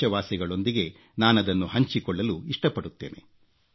ದೇಶವಾಸಿಗಳೊಂದಿಗೆ ನಾನದನ್ನು ಹಂಚಿಕೊಳ್ಳಲು ಇಷ್ಟಪಡುತ್ತೇನೆ